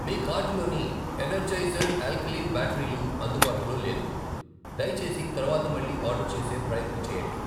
మీ కార్టులోని Energizer alkaline బ్యాటరీలు అందుబాటులో లేదు, దయచేసి తరువాత మళ్ళీ ఆర్డర్ చేసే ప్రయత్నం చేయండి.